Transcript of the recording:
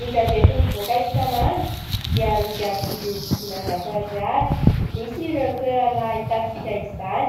Ny gazety mivoaka isan'andro dia amidy amin'ny vidiny dimanjato ariary. Misy ireo toerana ahitantsika izany